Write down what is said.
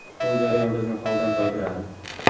Bu jarayon bizni holdan toydiradi.